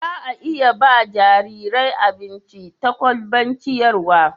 za a iya ba jarirai abinci ta kwalban ciyarwa